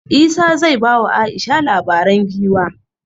Isah zai ba wa Aisha labaren giwa